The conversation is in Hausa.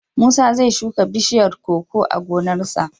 Musa zai shuka bishiyar koko a gonarsa.